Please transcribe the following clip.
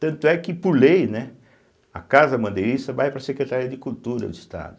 Tanto é que, por lei, né, a Casa Bandeirista vai para a Secretaria de Cultura do Estado.